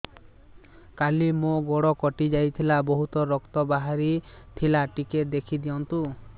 କାଲି ମୋ ଗୋଡ଼ କଟି ଯାଇଥିଲା ବହୁତ ରକ୍ତ ବାହାରି ଥିଲା ଟିକେ ଦେଖି ଦିଅନ୍ତୁ